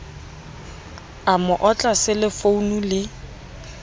a mo otla selefounu le